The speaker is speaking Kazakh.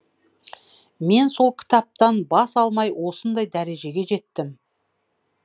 мен сол кітаптан бас алмай осындай дәрежеге жеттім